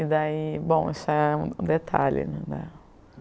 E daí, bom, isso é um detalhe, né?